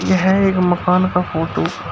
यह एक मकान का फोटो ।